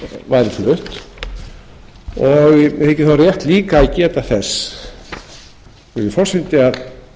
væri flutt og mér þykir þá rétt líka að geta þessu virðulegi forseti